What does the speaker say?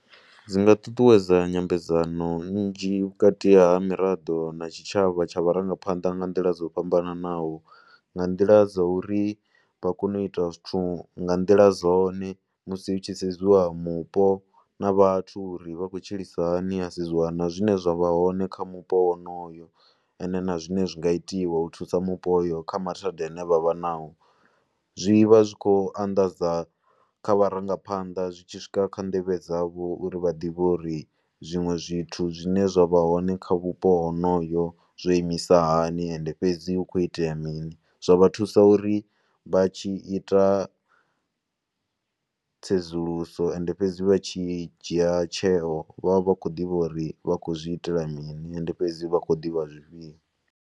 Dzi nga ṱuṱuwedza nyambedzano nnzhi vhukati ha miraḓo na tshitshavha tsha vharangaphanḓa nga nḓila dzo fhambanaho. Nga nḓila dza uri vha kone u ita zwithu nga nḓila dzone musi hu tshi sedziwa mupo na vhathu uri vha khou tshilisana hani. Ha sedziwa na zwine zwa vha hone kha mupo wonoyo and na zwine zwi nga itiwa u thusa mupo wonoyo kha mathanda a ne vha vha nao. Zwi vha zwi khou anḓadza kha vharangaphanḓa, zwi tshi swika kha nḓevhe dzavho uri vha ḓivhe zwiṅwe zwithu zwine zwa vha hone kha vhupo honoyo zwo imisa hani and fhedzi hu khou itea mini. Zwa vha thusa uri vha tshi ita tsedzuluso and fhedzi vha tshi dzhia tsheo vha vha vha khou ḓivha uri vha khou zwi itela mini. And fhedzi vha khou ḓivha zwifhio.